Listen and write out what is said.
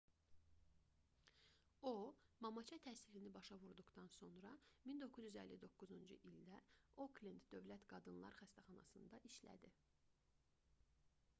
o mamaça təhsilini başa vurduqdan sonra 1959-cu ildə oklend dövlət qadınlar xəstəxanasında işlədi